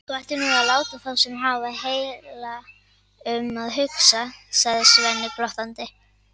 Þú ættir nú að láta þá sem hafa heila um að hugsa, sagði Svenni glottandi.